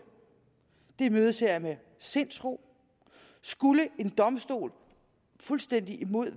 imødeser jeg med sindsro skulle en domstol fuldstændig imod